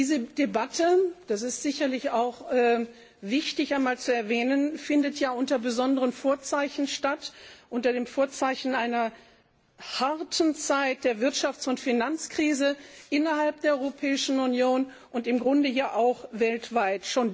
Diese Debatte das ist sicherlich auch wichtig zu erwähnen findet unter besonderen Vorzeichen statt, unter dem Vorzeichen einer harten Zeit der Wirtschafts und Finanzkrise innerhalb der Europäischen Union und im Grunde ja auch weltweit.